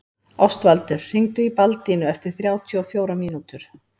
Ástvaldur, hringdu í Baldínu eftir þrjátíu og fjórar mínútur.